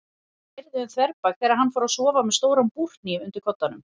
Það keyrði um þverbak þegar hann fór að sofa með stóran búrhníf undir koddanum.